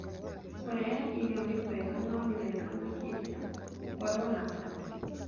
Kũrehe irio nĩ kwega no nĩwega makĩria gũkorũo na andũ